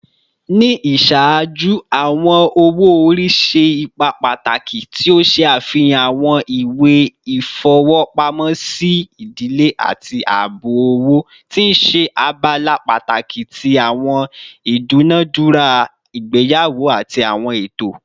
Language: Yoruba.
Ni iṣaaju, awọn owo-ori ṣe ipa pataki, ti o ṣe afihan awọn iwe ifowopamosi idile ati aabo owo, ti n ṣe abala pataki ti awọn idunadura igbeyawo ati awọn eto.